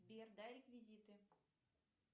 сбер дай реквизиты